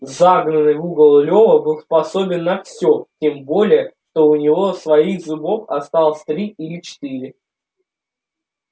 загнанный в угол лёва был способен на всё тем более что у него своих зубов осталось три или четыре